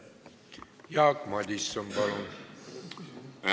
Jaak Madison, palun!